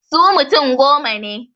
Su mutum goma ne.